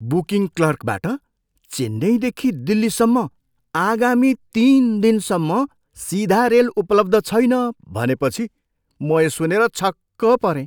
Booking क्लर्कबाट चेन्नईदेखि दिल्लीसम्म आगामी तिन दिनसम्म सिधा रेल उपलब्ध छैन भनेपछि म यो सुनेर छक्क परेँ।